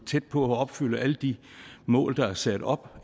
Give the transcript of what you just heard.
tæt på at opfylde alle de mål der er sat op